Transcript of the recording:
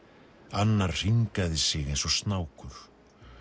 annar hringaði sig eins og snákur